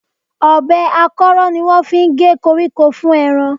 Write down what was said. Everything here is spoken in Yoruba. Ọ̀bẹ akọ́rọ́ ni wọ́n gé koríko fún ẹran